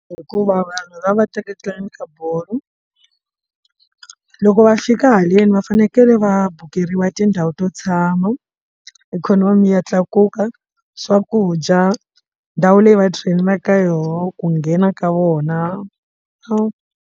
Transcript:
Hikuva vanhu lava va teketelana ka bolo loko va fika haleni va fanekele va bokeriwe tindhawu to tshama ikhonomi ya tlakuka swakudya ndhawu leyi va train-aka ka yona ku nghena ka vona va.